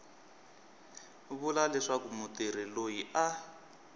vula leswaku mutirhi loyi a